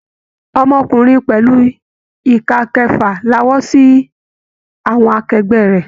Ọmọkùnrin pẹlu ika kẹfà lawọ́ sí àwọn akẹgbẹ rẹ.